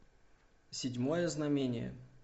седьмое знамение